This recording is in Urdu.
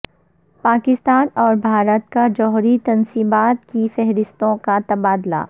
پاکستان اور بھارت کا جوہری تنصیبات کی فہرستوں کا تبادلہ